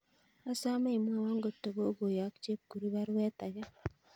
Asame imwowon kotogogoyok chepkurui paruet ake